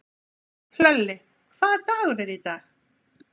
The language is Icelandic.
Hlölli, hvaða dagur er í dag?